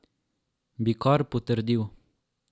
Bi kar potrdil.